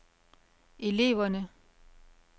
eleverne